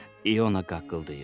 İona qaqıldayır.